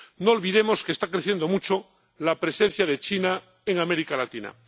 No olvidemos que está creciendo mucho la presencia de China en América Latina.